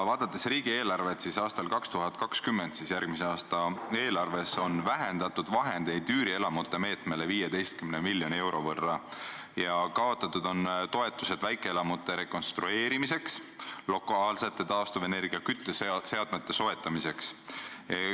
Vaadates riigieelarvet, siis järgmise, 2020. aasta eelarves on vähendatud üürielamute meetmele ettenähtud vahendeid 15 miljoni euro võrra ja kaotatud on toetused väikeelamute rekonstrueerimiseks, lokaalsete taastuvenergia kütteseadmete soetamiseks.